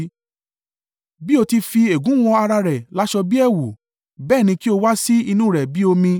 Bí ó ti fi ègún wọ ará rẹ̀ láṣọ bí ẹ̀wù bẹ́ẹ̀ ni kí ó wá sí inú rẹ̀ bí omi.